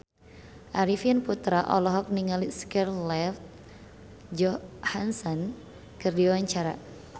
Arifin Putra olohok ningali Scarlett Johansson keur diwawancara